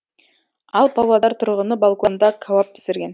ал павлодар тұрғыны балконда кәуап пісірген